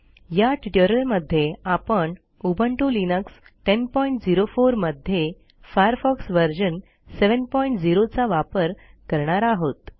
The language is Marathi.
या ट्युटोरियलमध्ये आपण उबुंटू लिनक्स 1004 मध्ये फायरफॉक्स व्हर्शन 70 चा वापर करणार आहोत